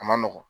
A ma nɔgɔn